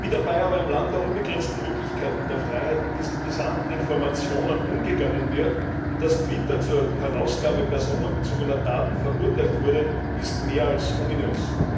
Wie dabei aber im Land der unbegrenzten Möglichkeiten und der Freiheit mit diesen brisanten Informationen umgegangen wird und dass Twitter zur Herausgabe personenbezogener Daten verurteilt wurde, ist mehr als ominös.